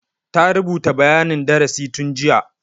Ta rubuta bayanin darasi tun jiya.